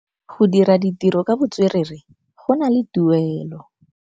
Go dira ditirô ka botswerere go na le tuelô.